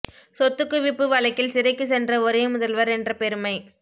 சொத்துக் குவிப்பு வழக்கில் சிறைக்கு சென்ற ஒரே முதல்வர் என்ற பெருமை